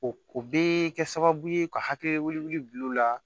O o bɛ kɛ sababu ye ka hakili bil'u la